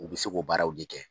U bɛ se k'o baaraw de kɛ.